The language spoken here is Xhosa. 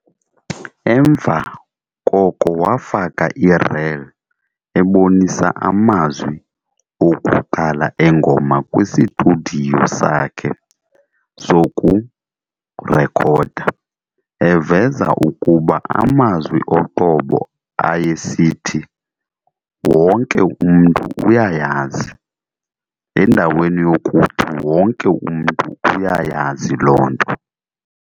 Emva koko wafaka ireel ebonisa amazwi okuqala engoma kwistudiyo sakhe sokurekhoda, eveza ukuba amazwi oqobo ayesithi "wonke umntu uyayazi" endaweni yokuthi "wonke umntu uyayazi loo nto".